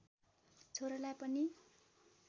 छोरालाई पनि